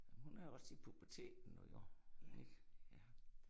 Hun er også i puberteten nu jo, ik? Ja